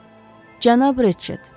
Hə, Cənab Reçet.